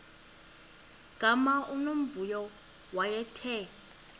gama unomvuyo wayethe